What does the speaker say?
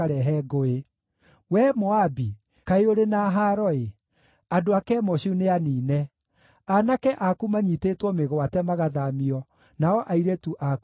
Wee Moabi, kaĩ ũrĩ na haaro-ĩ! Andũ a Kemoshu nĩaniine; aanake aku manyiitĩtwo mĩgwate magathaamio nao airĩtu aku magatahwo.